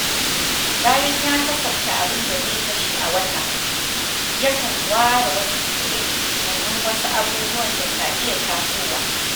Bayan ya kasafta abin da zai kashe a wata, yakan ware wasu kuɗin domin wasu abubuwan da ka iya tasowa